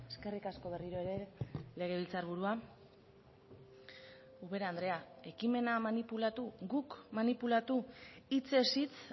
eskerrik asko berriro ere legebiltzarburua ubera andrea ekimena manipulatu guk manipulatu hitzez hitz